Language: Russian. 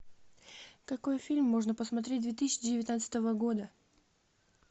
какой фильм можно посмотреть две тысячи девятнадцатого года